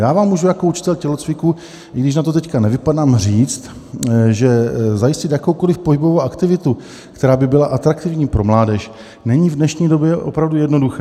Já vám můžu jako učitel tělocviku, i když na to teď nevypadám, říct, že zajistit jakoukoliv pohybovou aktivitu, která by byla atraktivní pro mládež, není v dnešní době opravdu jednoduché.